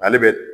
Ale bɛ